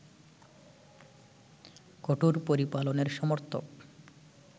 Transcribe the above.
কঠোর পরিপালনের সমর্থক